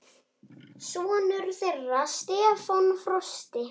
Sonur þeirra Stefán Frosti.